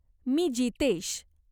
मी Jitesh.